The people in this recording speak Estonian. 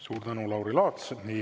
Suur tänu, Lauri Laats!